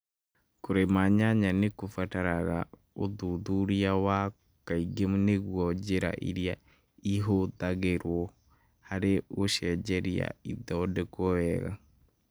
Kũrĩma nyanya nĩ kũbataraga ũthuthuria wa kaĩngi nĩguo njĩra iria ihũthagĩrũo harĩ gũciarĩria ithondekũo wega.